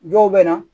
Dɔw bɛ na